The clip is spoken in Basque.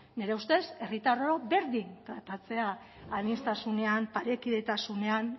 nire ustez herritarrok berdin tratatzea aniztasunean parekidetasunean